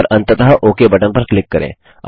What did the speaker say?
और अंततः okay button पर क्लिक करें